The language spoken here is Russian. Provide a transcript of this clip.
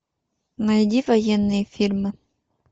найди военные фильмы